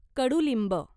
कडुलिंब